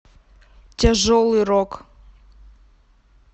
тяжелый рок